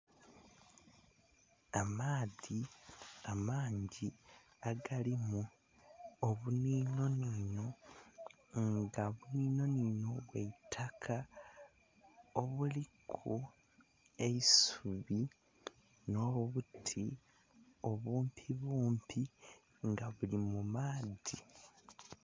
Amaadhi amangi agalimu obunhino nhino nga buninho ninho bwa itaka obuliku eisubi nho buti obumpi bumpi nga buuli mu maadhi.